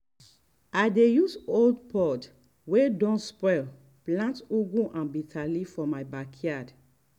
i dey use old pot wey don spoil plant ugu and bitterleaf for my backyard.